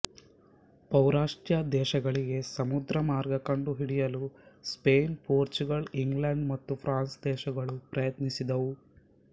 ಪೌರಸ್ತ್ಯ ದೇಶಗಳಿಗೆ ಸಮುದ್ರಮಾರ್ಗ ಕಂಡುಹಿಡಿಯಲು ಸ್ಪೇನ್ ಪೋರ್ಚುಗಲ್ ಇಂಗ್ಲೆಂಡ್ ಮತ್ತು ಫ್ರಾನ್ಸ್ ದೇಶಗಳು ಪ್ರಯತ್ನಿಸಿದುವು